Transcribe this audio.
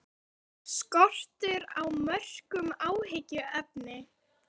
Er skortur á mörkum áhyggjuefni?